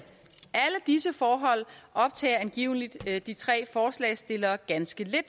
disse forhold optager angiveligt de tre forslagsstillere ganske lidt